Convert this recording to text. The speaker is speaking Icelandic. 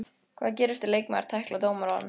Hvað gerist ef leikmaður tæklar dómarann?